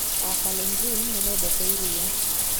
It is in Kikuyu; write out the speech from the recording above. Akalenjin nĩ mendete iria